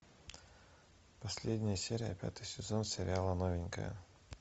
последняя серия пятый сезон сериала новенькая